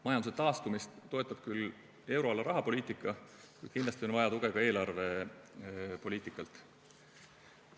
Majanduse taastumist toetab küll euroala rahapoliitika, kuid kindlasti on vaja tuge ka eelarvepoliitikalt.